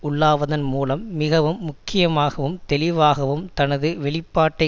உள்ளாவதன் மூலம் மிகவும் முக்கியமாகவும் தெளிவாகவும் தனது வெளிப்பாட்டை